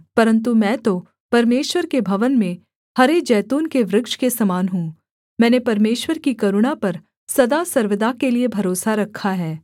परन्तु मैं तो परमेश्वर के भवन में हरे जैतून के वृक्ष के समान हूँ मैंने परमेश्वर की करुणा पर सदा सर्वदा के लिये भरोसा रखा है